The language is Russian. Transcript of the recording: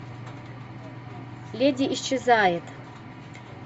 леди исчезает